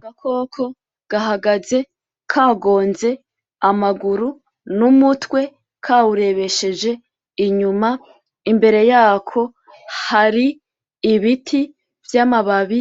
Agakoko gahagaze kagonze amaguru n'umutwe kawurebesheje inyuma, imbere yako hari ibiti vy'amababi